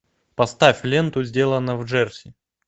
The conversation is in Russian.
поставь ленту сделано в джерси